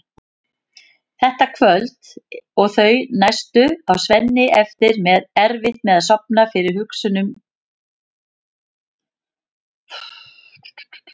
Þetta kvöld og þau næstu á Svenni erfitt með að sofna fyrir hugsunum um